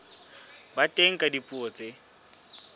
ba teng ka dipuo tse